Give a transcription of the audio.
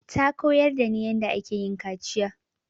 Ta koyar da ni yanda ake yin kaciya